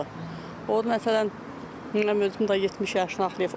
O, məsələn, nə bilim, özüm də 70 yaşı haqlayıb.